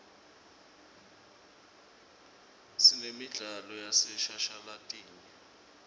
sinemidlalo yaseshashalatini